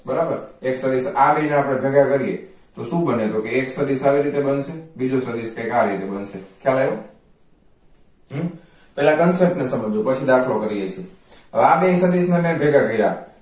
બરાબર એક રીત આ બેય ને ભેગા 'કરીયે તો શું બનશે એક સદિશ આવી રીતે બનશે અને બીજું સદિશ કંઈક આવી રીતે બનશે ખ્યાલ આવ્યો હમ્મ પેલા concept ને સમજવો પછી દાખલો કરી શકશુ હવે આ બેય સદિશ ને મેં ભેગા કર્યા